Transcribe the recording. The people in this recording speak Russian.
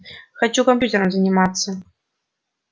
хочу компьютером заниматься